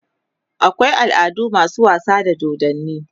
akwai al'adu masu wasa da dodanni